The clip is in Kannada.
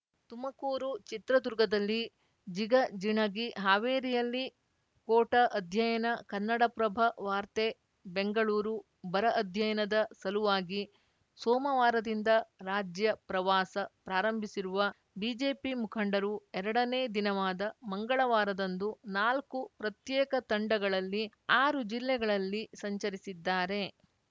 ತುಮಕೂರು ಚಿತ್ರದುರ್ಗದಲ್ಲಿ ಜಿಗಜಿಣಗಿ ಹಾವೇರಿಯಲ್ಲಿ ಕೋಟ ಅಧ್ಯಯನ ಕನ್ನಡಪ್ರಭ ವಾರ್ತೆ ಬೆಂಗಳೂರು ಬರ ಅಧ್ಯಯನದ ಸಲುವಾಗಿ ಸೋಮವಾರದಿಂದ ರಾಜ್ಯ ಪ್ರವಾಸ ಪ್ರಾರಂಭಿಸಿರುವ ಬಿಜೆಪಿ ಮುಖಂಡರು ಎರಡನೇ ದಿನವಾದ ಮಂಗಳವಾರದಂದು ನಾಲ್ಕು ಪ್ರತ್ಯೇಕ ತಂಡಗಳಲ್ಲಿ ಆರು ಜಿಲ್ಲೆಗಳಲ್ಲಿ ಸಂಚರಿಸಿದ್ದಾರೆ